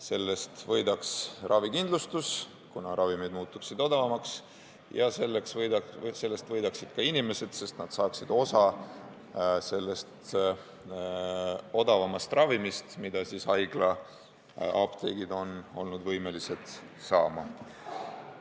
Sellest võidaks ravikindlustus, kuna ravimid muutuksid odavamaks, ja sellest võidaksid ka inimesed, sest nad saaksid osa sellest odavamast ravimist, mida haiglaapteegid on olnud võimelised saama.